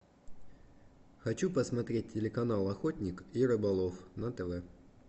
хочу посмотреть телеканал охотник и рыболов на тв